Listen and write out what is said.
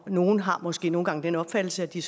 nogle har måske nogle gange den opfattelse at de